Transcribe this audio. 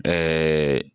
Ɛɛ